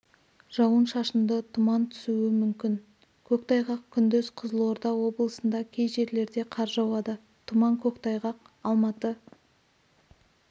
жауын-шашынды тұман түсуі мүмкін көктайғақ күндіз қызылорда облысында кей жерлерде қар жауады тұман көктайғақ алматы